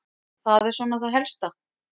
Það er svona það helsta.